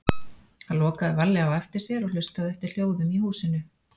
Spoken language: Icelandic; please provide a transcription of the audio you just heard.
Hann lokaði varlega á eftir sér og hlustaði eftir hljóðum í húsinu.